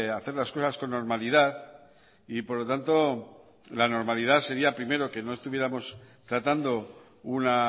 hacer las cosas con normalidad y por lo tanto la normalidad sería primero que no estuviéramos tratando una